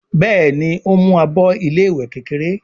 Béèni o ń mú àbọ ilé ìwé kékeré.